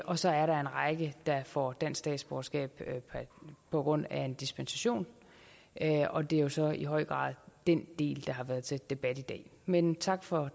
og så er der en række der får dansk statsborgerskab på grund af en dispensation og det er så i høj grad den del der har været til debat i dag men tak for